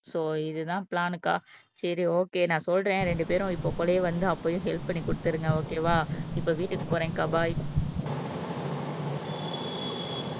So இதுதான் பிளான்கா சரி ஓகே நான் சொல்றேன் ரெண்டு பேரும் இப்ப கூடயே வந்து அப்பவே ஹெல்ப் பண்ணி குடுத்திருங்க ஓகேவா இப்ப வீட்டுக்கு போறேன் பபாய்.